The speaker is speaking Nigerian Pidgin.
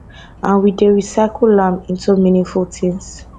and we dey recycle am into meaningful items